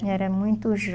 Eu era muito